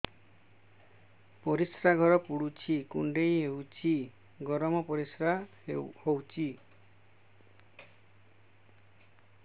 ପରିସ୍ରା ଘର ପୁଡୁଚି କୁଣ୍ଡେଇ ହଉଚି ଗରମ ପରିସ୍ରା ହଉଚି